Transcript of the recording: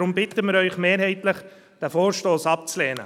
Darum bitten wir Sie mehrheitlich, diesen Vorstoss abzulehnen.